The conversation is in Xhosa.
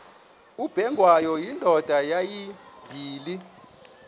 ubengwayo indoda yayibile